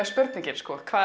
spurningin